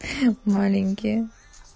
маленькие